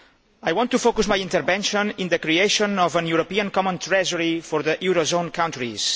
I want to focus my intervention on the creation of a European common treasury for the eurozone countries.